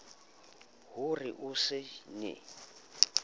ho re o se ne